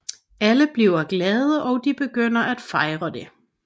Alle bliver glade og de begynder at fejre det